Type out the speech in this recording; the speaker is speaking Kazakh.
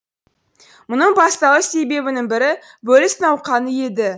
мұның басталу себебінің бірі бөліс науқаны еді